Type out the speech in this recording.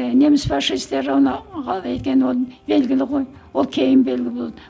ыыы неміс фашисттері оны қалай екені ол белгілі ғой ол кейін белгілі болды